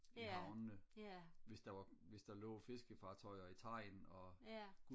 i havnene hvis der var hvis der lå fiskefartøjer i Tejn og